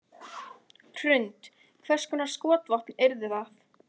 Hrund: Hvers konar skotvopn yrðu það?